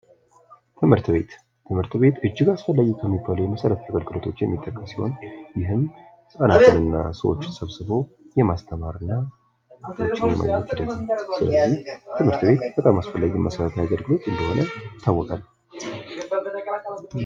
ትምህርት ቤት ትምህርት ቤት እጅግ አስፈላጊ ከሚባሉ የመሰረተ ልማቶች የሚመደብ ሲሆን ይህም ህጻናትንና ሰዎችን ሰብስቦ ማስተማር እና ትምህርት ቤት ስለዚህ ትምርት ቤት መሰረታዊ አገልግሎት እንደሆነ ይታወቃል።